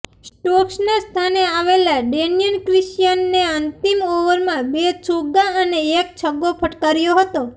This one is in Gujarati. સ્ટોક્સનાં સ્થાને આવેલા ડેનિયલ ક્રિશ્ચિયને અંતિમ ઓવરમાં બે ચોગ્ગા અને એક છગ્ગો ફટકાર્યો હતો